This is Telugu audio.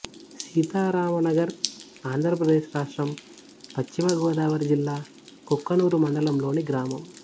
సీతారామనగర్ ఆంధ్ర ప్రదేశ్ రాష్ట్రం పశ్చిమ గోదావరి జిల్లా కుక్కునూరు మండలం లోని గ్రామం